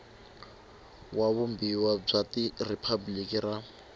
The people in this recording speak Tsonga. wa vumbiwa bya riphabliki ra